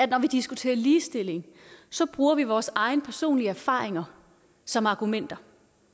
når vi diskuterer ligestilling bruger vi vores egne personlige erfaringer som argumenter